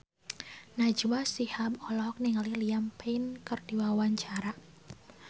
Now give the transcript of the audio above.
Najwa Shihab olohok ningali Liam Payne keur diwawancara